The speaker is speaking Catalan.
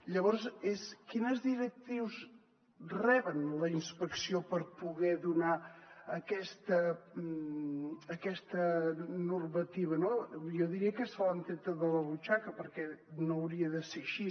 llavors quines directrius rep la inspecció per poder donar aquesta normativa jo diria que se l’han treta de la butxaca perquè no hauria de ser així